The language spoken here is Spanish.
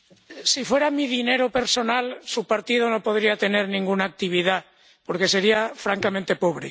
Si fuera mi dinero personal, su partido no podría tener ninguna actividad, porque sería francamente pobre.